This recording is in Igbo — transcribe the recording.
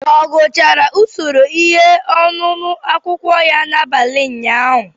Ọ gụchara usoro ihe ọṅụṅụ akwukwo ya n'abalị ụnyaahụ?